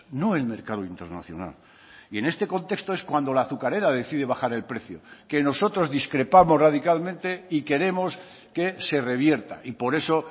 no el mercado internacional y en este contexto es cuando la azucarera decide bajar el precio que nosotros discrepamos radicalmente y queremos que se revierta y por eso